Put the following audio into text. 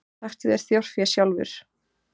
Taktu þér þjórfé sjálfur.